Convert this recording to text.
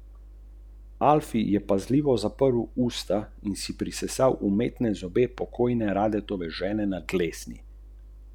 Ostanite zbrani in previdni, ne prekinjajte sogovornikov, čeprav se vam zdi, da ste daleč pred njimi.